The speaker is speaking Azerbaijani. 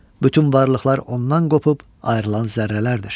Bütün varlıqlar ondan qopub ayrılan zərrələrdir.